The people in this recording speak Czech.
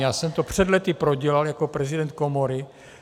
Já jsem to před lety prodělal jako prezident komory.